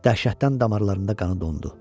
Dəhşətdən damarlarında qanı dondu.